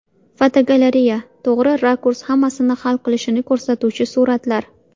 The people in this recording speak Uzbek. Fotogalereya: To‘g‘ri rakurs hammasini hal qilishini ko‘rsatuvchi suratlar.